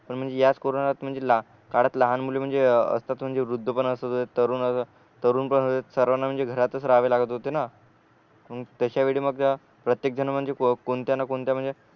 पण म्हणजे याच कोरोनात म्हणजे काळात लहान मुले म्हणजे असतात म्हणजे वृध्दपन असतात तरुण तरुणपण सर्वांना म्हणजे घरातच राहावे लागत होते न मग तश्या वेळी मग का प्रत्येक जन म्हणजे कोणत्या न कोणत्या म्हणजे